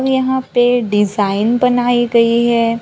और यहां पे डिजाइन बनाये गये है।